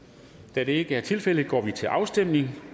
da det ikke er tilfældet går vi til afstemning